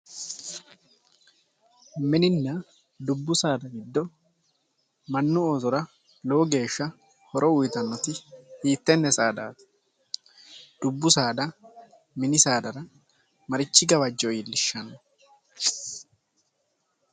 Minunna dubbu saada giddo mannu oosora lowo geeshsha horo uyittanoti hiittene saadati, dubbu saada mini saadara marichi gawajo iillishano ?